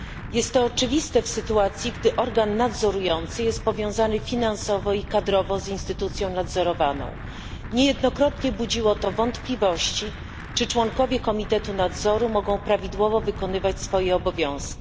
Jest to oczywiste w sytuacji, gdy organ nadzorujący jest powiązany finansowo i kadrowo z instytucją nadzorowaną. Niejednokrotnie budziło to wątpliwości, czy członkowie Komitetu Nadzoru mogą prawidłowo wykonywać swoje obowiązki.